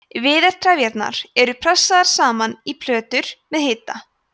viðartrefjarnar eru pressaðar saman í plötur með hita